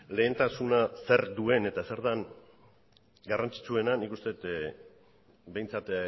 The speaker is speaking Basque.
lehentasuna zer duen eta zer den garrantzitsuena nik uste dut behintzat